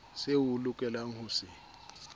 seo o lokelang ho se